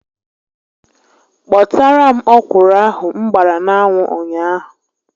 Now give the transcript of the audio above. Kpotara m ọkwụrụ ahụ m gbara n'anwụ ụnyaahụ